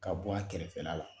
Ka bɔ a kɛrɛfɛla la.